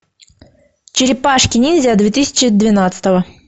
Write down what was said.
черепашки ниндзя две тысячи двенадцатого